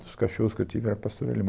Os cachorros que eu tive, era pastor alemão.